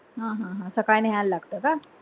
हा हा हा सकाळी न्हयला लागत का?